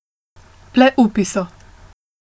Le upi so.